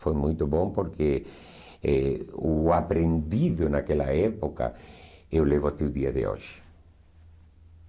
Foi muito bom porque eh o aprendido naquela época eu levo até o dia de hoje.